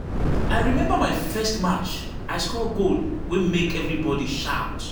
I remember my first match; I score goal wey make everybody shout.